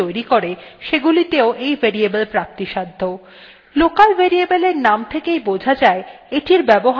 local variables এর name থেকেই বোঝা যায় এটির ব্যবহার বেশি নিয়ন্ত্রিত অথবা সীমিত